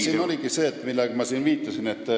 Siin oligi põhjus see, millele ma viitasin.